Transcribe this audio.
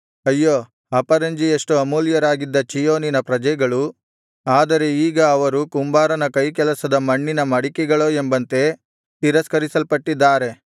ಅಯ್ಯೋ ಅಪರಂಜಿಯಷ್ಟು ಅಮೂಲ್ಯರಾಗಿದ ಚೀಯೋನಿನ ಪ್ರಜೆಗಳು ಆದರೆ ಈಗ ಅವರು ಕುಂಬಾರನ ಕೈಕೆಲಸದ ಮಣ್ಣಿನ ಮಡಿಕೆಗಳೋ ಎಂಬಂತೆ ತಿರಸ್ಕರಿಸಲ್ಪಟ್ಟಿದ್ದಾರೆ